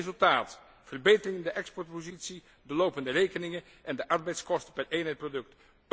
Met resultaat verbetering in de exportpositie, de lopende rekeningen en de arbeidskosten per eenheid product.